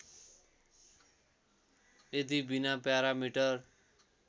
यदि बिना प्यारामिटर